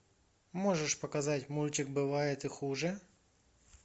можешь показать мультик бывает и хуже